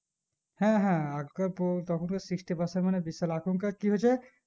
হ্যাঁ হ্যাঁ আগেকার তো তখনকার sixty percent মানে বিশাল এখন কার কি হচ্ছে